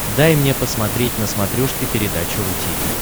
дай мне посмотреть на смотрешке передачу ру ти ви